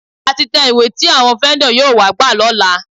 A ti tẹ ìwé tí àwọn fẹ́ńdọ̀ yóò wá gbà lọ́la.